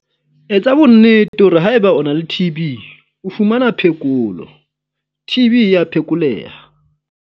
Etsa bonnete hore haeba o na le TB o fumana phekolo - TB e a phekoleha!